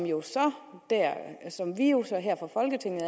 jo så her fra folketinget